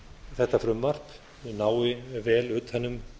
þetta frumvarp nái vel utan um